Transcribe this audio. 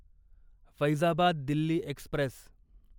Faizabad Delhi Express